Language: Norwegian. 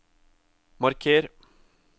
marker